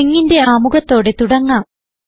stringsന്റെ ആമുഖത്തോടെ തുടങ്ങാം